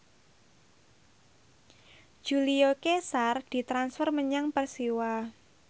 Julio Cesar ditransfer menyang Persiwa